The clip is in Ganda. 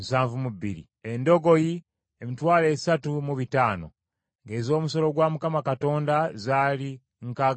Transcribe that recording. Endogoyi, emitwalo esatu mu bitaano (30,500), ng’ez’omusolo gwa Mukama Katonda zaali nkaaga mu emu (61).